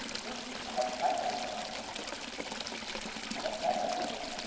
উহ আমার flat আছে আমার flat আছে তো।